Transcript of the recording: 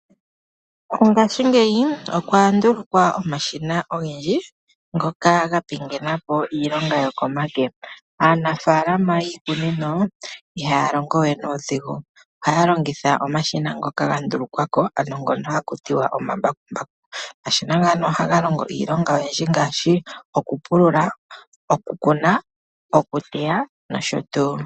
Ngashigeyi okwa ndulukwapo omashina ogendji ngoka ga pingenapo iilonga yokomake. Aanafalama yiikunino iha ya longowe nuudhingu. Oha longitha omashina ngoka ga ndulukwako ano ohaku tiwa omambakumbaku. Omashina ngano ohaga longo iinima oyindji ngaashi oku pulula, okukuna, okuteya noshotuu.